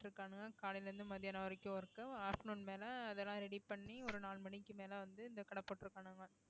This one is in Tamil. இருக்கானுங்க காலையில இருந்து மத்தியானம் வரைக்கும் work afternoon மேல அதெல்லாம் ready பண்ணி ஒரு நாலு மணிக்கு மேல வந்து இந்த கடைபோட்டுருக்கானுங்க